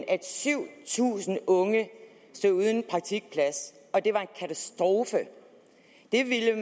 at syv tusind unge stod uden en praktikplads og det var en katastrofe det ville